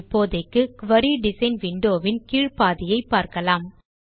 இப்போதைக்கு குரி design window வின் கீழ் பாதியை பார்க்கலாம்